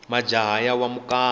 majaha ya wa mukapa